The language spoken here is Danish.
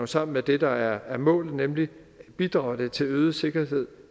sammen med det der er målet nemlig bidrager det til øget sikkerhed